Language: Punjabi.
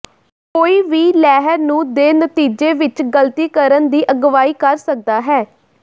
ਕੋਈ ਵੀ ਲਹਿਰ ਨੂੰ ਦੇ ਨਤੀਜੇ ਵਿੱਚ ਗਲਤੀ ਕਰਨ ਦੀ ਅਗਵਾਈ ਕਰ ਸਕਦਾ ਹੈ